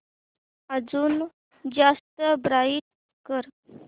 अजून जास्त ब्राईट कर